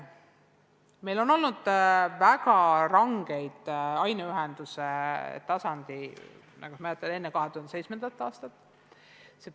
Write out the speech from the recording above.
Meil on olnud väga rangeid aineühendusi, mäletan neid enne 2007. aastat.